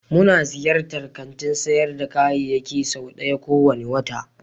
Muna ziyartar kantin sayar da kayayyaki sau ɗaya kowane wata.